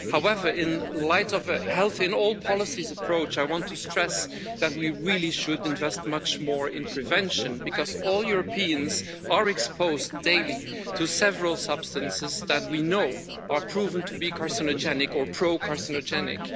However, in light of the health in all policies' approach, I want to stress that we really should invest much more in prevention because all Europeans are exposed daily to several substances that we know are proven to be carcinogenic or pro-carcinogenic.